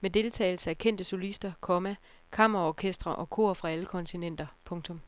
med deltagelse af kendte solister, komma kammerorkestre og kor fra alle kontinenter. punktum